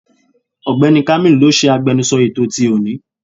Ọ̀gbẹ́ni kámílù ló ṣe agbẹnusọ ètò ti òní.